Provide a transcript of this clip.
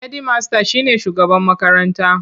Hedimasta shi ne shugaban makaranta.